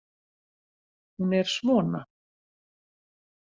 Hún er svona: